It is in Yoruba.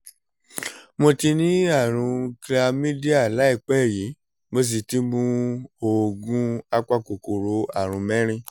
mo ti ní àrùn chlamydia láìpẹ́ yìí mo sì ti mu oògùn apakòkòrò àrùn mẹ́rin